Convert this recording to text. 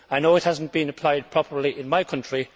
I know it has not been applied properly in my country.